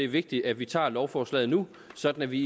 vigtigt at vi tager lovforslaget nu sådan at vi